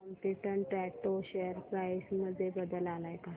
competent auto share price मध्ये बदल आलाय का